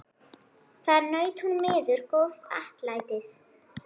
Þar naut hún miður góðs atlætis.